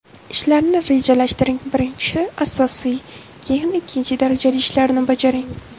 Ishlarni rejalashtiring Birinchi asosiy, keyin ikkinchi darajali ishlarni bajaring.